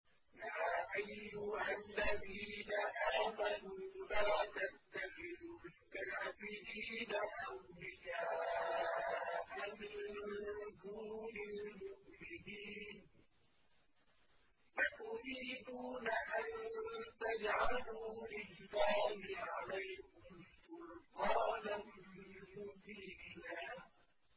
يَا أَيُّهَا الَّذِينَ آمَنُوا لَا تَتَّخِذُوا الْكَافِرِينَ أَوْلِيَاءَ مِن دُونِ الْمُؤْمِنِينَ ۚ أَتُرِيدُونَ أَن تَجْعَلُوا لِلَّهِ عَلَيْكُمْ سُلْطَانًا مُّبِينًا